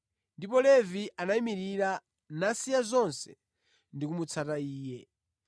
Ndipo Levi anayimirira, nasiya zonse ndi kumutsata Iye.